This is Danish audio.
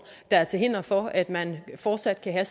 der er til hinder for at man fortsat kan have